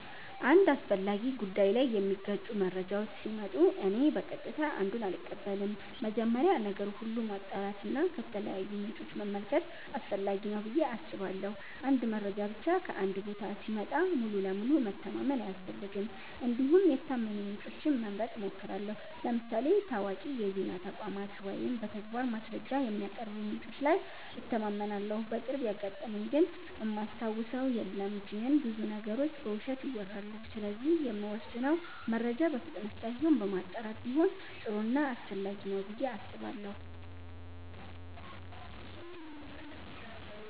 አንድ አስፈላጊ ጉዳይ ላይ የሚጋጩ መረጃዎች ሲመጡ እኔ በቀጥታ አንዱን አልቀበልም። መጀመሪያ ነገር ሁሉ ማጣራት እና ከተለያዩ ምንጮች መመልከት አስፈላጊ ነው ብዬ አስባለሁ። አንድ መረጃ ብቻ ከአንድ ቦታ ሲመጣ ሙሉ በሙሉ መተማመን አያስፈልግም እንዲሁም የታመኑ ምንጮችን መምረጥ እሞክራለሁ ለምሳሌ ታዋቂ የዜና ተቋማት ወይም በተግባር ማስረጃ የሚያቀርቡ ምንጮች ላይ እተማመናለሁ። በቅርቡ ያጋጠመኝ ግን እማስታውሰው የለም ግን ብዙ ነገሮች በውሸት ይወራሉ ስለዚህ የምንወስነው መረጃ በፍጥነት ሳይሆን በማጣራት ቢሆን ጥሩ ና አስፈላጊ ነው ብዬ አስባለሁ።